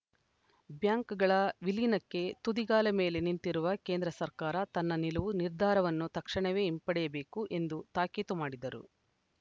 ಬ್ಯಾಂಕ್‌ಗಳ ವಿಲೀನಕ್ಕೆ ತುದಿಗಾಲ ಮೇಲೆ ನಿಂತಿರುವ ಕೇಂದ್ರ ಸರ್ಕಾರ ತನ್ನ ನಿಲುವು ನಿರ್ಧಾರವನ್ನು ತಕ್ಷಣವೇ ಹಿಂಪಡೆಯಬೇಕು ಎಂದು ತಾಕೀತು ಮಾಡಿದರು